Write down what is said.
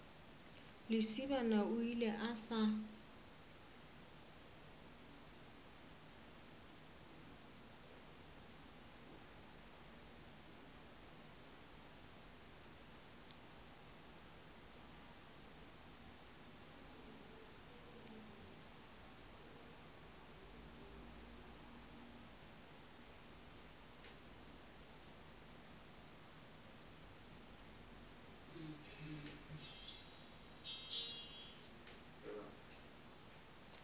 lesibana o ile a sa